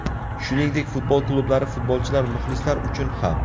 Shuningdek, futbol klublari, futbolchilar, muxlislar uchun ham.